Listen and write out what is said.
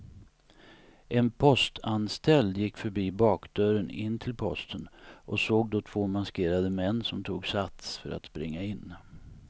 En postanställd gick förbi bakdörren in till posten och såg då två maskerade män som tog sats för att springa in.